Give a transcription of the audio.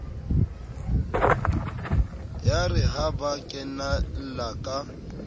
yare ha ba kenella ka